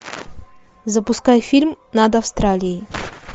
запускай фильм над австралией